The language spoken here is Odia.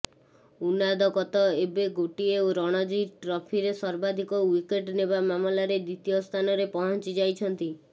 ଉନାଦକତ ଏବେ ଗୋଟିଏ ରଣଜୀ ଟ୍ରଫିରେ ସର୍ବାଧିକ ଓ୍ବିକେଟ୍ ନେବା ମାମଲାରେ ଦ୍ବିତୀୟ ସ୍ଥାନରେ ପହଞ୍ଚି ଯାଇଛନ୍ତି